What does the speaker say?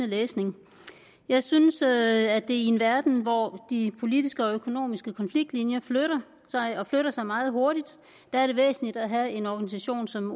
læsning jeg synes at det i en verden hvor de politiske og økonomiske konfliktlinjer flytter sig og flytter sig meget hurtigt er væsentligt at have en organisation som